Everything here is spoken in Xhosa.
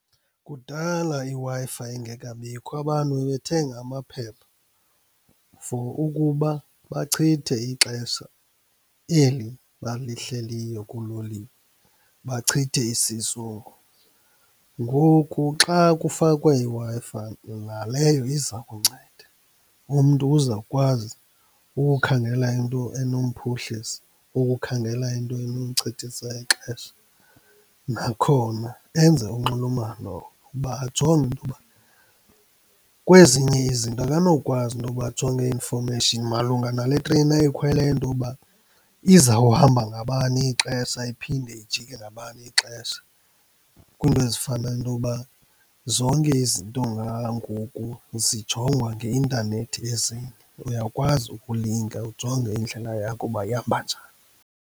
Kudala, iWi-Fi ingekabikho abantu bebethenga amaphepha for ukuba bachithe ixesha eli balihleliyo kuloliwe, bachithe isizungu. Ngoku xa kufakwa iWi-Fi naleyo iza kunceda. Umntu uzawukwazi ukukhangela into enomphuhlisa, ukukhangela into enomchithisa ixesha. Nakhona enze unxulumano uba ajonge intoba kwezinye izinto akanokwazi intoba ajonge i-information malunga nale train ayikhweleyo intoba izawuhamba ngabani ixesha iphinde ijike ngabani ixesha. Kwiinto ezifana noba zonke izinto ngoku zijongwa ngeintanethi ezinye, uyakwazi ukulinga ujonge indlela yakho uba ihamba njani.